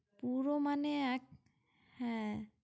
পুরো মানে এক হ্যাঁ